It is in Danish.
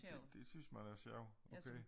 Ja dét synes man er sjovt okay